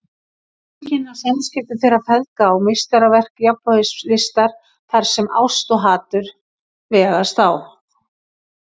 Lýsingin á samskiptum þeirra feðga er meistaraverk jafnvægislistar þar sem ást og hatur vegast á.